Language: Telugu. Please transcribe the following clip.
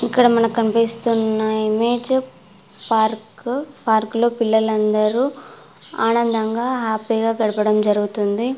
ఇక్కడ మనకు కనిపిస్తున్న ఇమేజ్ పార్క్ . పార్కు లో పిల్లలు అందరు ఆనందంగా హ్యాపీ గా గడపడం జరుగుతుంది.